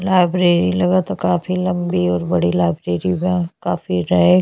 Library लगत ह। काफी लम्बी और बड़ी लाइब्रेरी बा। काफी रहे --